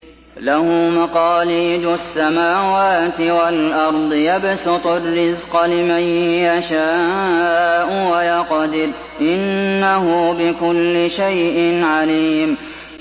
لَهُ مَقَالِيدُ السَّمَاوَاتِ وَالْأَرْضِ ۖ يَبْسُطُ الرِّزْقَ لِمَن يَشَاءُ وَيَقْدِرُ ۚ إِنَّهُ بِكُلِّ شَيْءٍ عَلِيمٌ